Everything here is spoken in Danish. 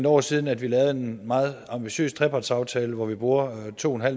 år siden at vi lavede en meget ambitiøs trepartsaftale hvor vi bruger to